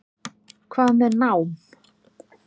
Hvað með nám?